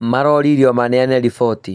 Maroririo maneane riboti